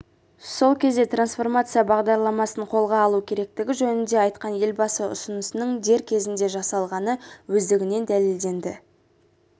сол кезде трансформация бағдарламасын қолға алу керектігі жөнінде айтқан елбасы ұсынысының дер кезінде жасалғаны өздігінен дәлелденді